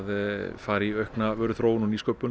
fara í aukna vöruþróun og nýsköpun